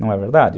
Não é verdade?